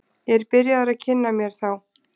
Ég er byrjaður að kynna mér þá.